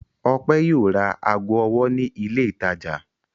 Ọpẹ́ yóò ra ago ọwọ́ ní ilé-ìtajà.